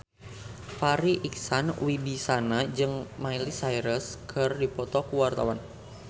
Farri Icksan Wibisana jeung Miley Cyrus keur dipoto ku wartawan